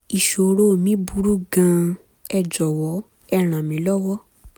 ìṣòro mi burú gan-an ẹ jọ̀wọ́ ẹ ràn mí lọ́wọ́